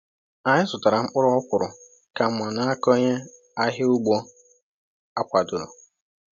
Anyị zụtara mkpụrụ ọkwụrụ ka mma n’aka onye ahịa ugbo e kwadoro.